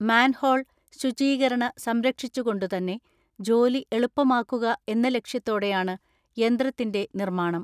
Manhole ശുചീകരണ സംരക്ഷിച്ചുകൊണ്ടു തന്നെ ജോലി എളുപ്പമാക്കുക എന്ന ലക്ഷ്യത്തോടെയാണ് യന്ത്രത്തിന്റെ നിർമ്മാണം.